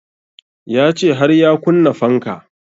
Ya ce har ya kunna fanka